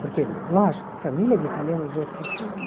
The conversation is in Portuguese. Porque, lógico, família de italiano, do jeito que eu sou, né?